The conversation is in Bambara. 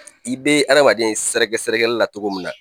I bɛ adamaden ye sɛrɛgɛsɛrɛgɛli la cogo min na.